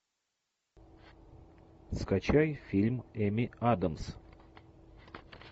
скачай фильм эми адамс